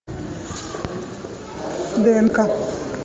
днк